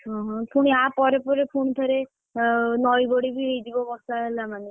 ଓହୋ ପୁଣି ଆ ପରେ ପରେ ପୁଣିଥରେ ଅ ନଇବଢି ହେଇଯିବ, ବର୍ଷା ହେଲା ମାନେ,